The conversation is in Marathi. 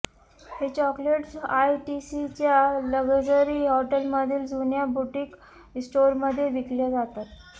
हे चॉकलेट्स आयटीसीच्या लग्जरी हॉटेलमधील जुन्या बुटीक स्टोरमध्ये विकले जातात